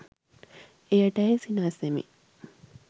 එයට ඇය සිනාසෙමින්